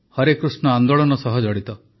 ହରେକୃଷ୍ଣ ଆନ୍ଦୋଳନ ସହ ଜଡ଼ିତ